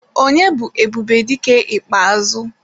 Onye bu Ebubedike ikpeazu?